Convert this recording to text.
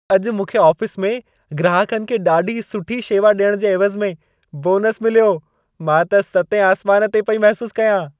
अॼु मूंखे आफ़िस में ग्राहकनि खे ॾाढी सुठी शेवा ॾियण जे एवज़ में बोनस मिलियो। मां त सतें आसमान ते पई महसूस कयां।